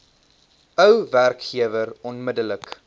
ou werkgewer onmiddellik